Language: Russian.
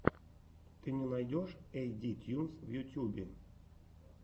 ты мне найдешь эйт ди тьюнс в ютюбе